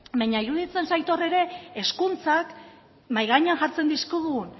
baina iruditzen zait hor ere hezkuntzak mahai gainean jartzen dizkigun